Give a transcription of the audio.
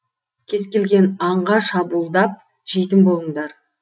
кез келген аңға шабуылдап жейтін болыңдар